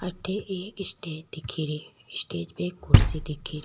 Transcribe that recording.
अठे एक स्टेज दिखेरी स्टेज पे एक कुर्सी दिखेरी।